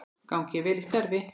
Gangi þér vel í starfi.